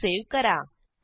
file save करा